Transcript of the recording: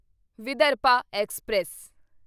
Vidarbha express